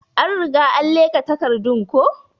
An Riga an leka takardun ko.